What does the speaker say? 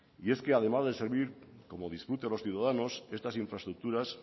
y es que además de servir como disfrute de los ciudadanos estas infraestructuras